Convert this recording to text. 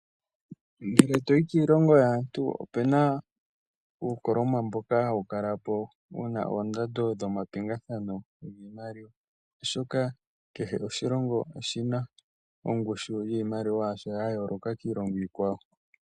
Ngele to yi kiilongo yaantu ope na uukoloma mboka hawu kala po wu na oondando dhomapingathano giimaliwa, oshoka kehe oshilongo oshi na ongushu yiimaliwa yasho ya yooloka kiilonga iikwawo.